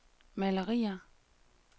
malerier